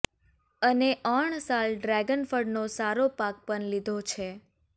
અને ઓણ સાલ ડ્રેગન ફળનો સારો પાક પણ લીધો છે